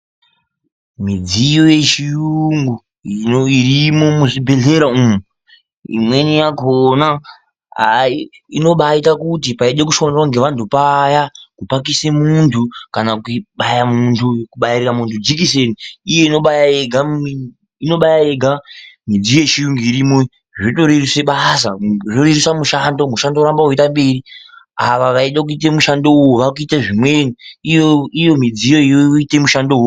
Midziyo yechiyungu irimwo muzvibhehleya umwu imweni yakona inobaite kuti paidekushandwa ngevantu paya kupakise munhu kana kubaira muntu jekiseni iyo inobaya yega midziyo yechiyungu irimwo iyi zvotoreruse basa zvorerusa mushando ,mushando woramba weienda mberi ava vaide kuite mushando uyu vaakuite zvimweni ,iyo midziyoyo yoite mushando wakona.